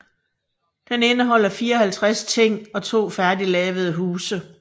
Den indeholder 54 ting og to færdiglavede huse